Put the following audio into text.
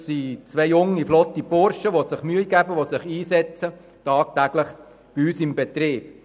Das sind zwei junge, flotte Burschen, die sich Mühe geben und sich tagtäglich bei uns im Betrieb einsetzen.